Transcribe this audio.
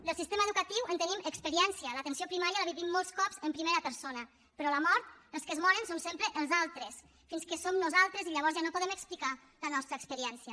del sistema educatiu en tenim experiència l’atenció primària la vivim molts cops en primera persona però la mort els que es moren són sempre els altres fins que som nosaltres i llavors ja no podem explicar la nostra experiència